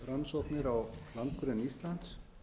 gasrannsóknir á landgrunni íslands